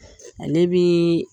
Ale bi